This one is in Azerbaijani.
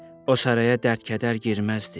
O saraya dərd-kədər girməzdi.